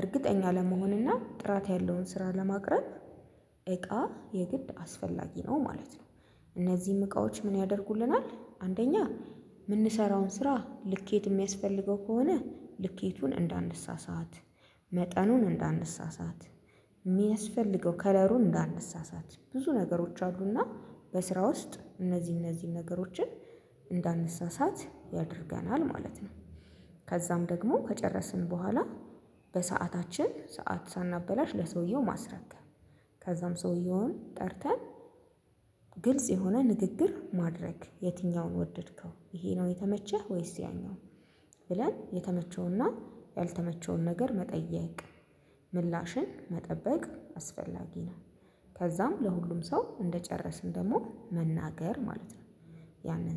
እርግጠኛ ለመሆንና ጥራት ያለውን ስራ ለማቅረብ። እቃ የግድ አስፈላጊ ነው ማለት ነው። እነዚህም እቃዎች ምን ያደርጉልናል አንደኛ የምንሰራውን ስራ ልኬት የሚያስፈልገው ከሆነ ልኬቱን እንዳንሳሳት መጠኑን እንዳንሳሳት የሚያስፈልገው ከለሩን እንዳንሳሳት ብዙ ነገሮች አሉና በስራ ውስጥ እነዚህ እነዚህን ነገሮችን እንዳንሳሳት ያደርገናል ማለት ነው። ከዛም ደግሞ ከጨረስን በኋላ በሰአታችን ሰዓት ሳናበላሽ ለሰውየው ማስረከብ። ከዛም ሰውየውን ጠርተን ግልጽ የሆነ ንግግር ማድረግ የትኛውን ወደድከው ይሄ ነው የተመቸህ ወይስ ያኛው? ብለን የተመቸውና ያልተመቸውን ነገር መጠየቅ። ምላሽን መጠበቅ አስፈላጊ ነው። ከዛም ለሁሉም ሰው እንደጨረስን ደግሞ መናገር ማለት ነው። ያንን